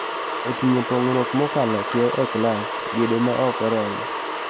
Oting'o pong'ruok mokalo kiewo e klas, gedo ma ok oromo,